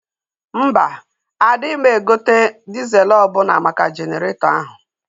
Mba, adịma egote dịzel ọbụna maka Jeneretọ ahụ